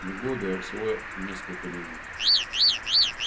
не годы а всего несколько минут